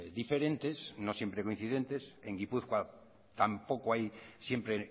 diferentes no siempre coincidentes en gipuzkoa tampoco hay siempre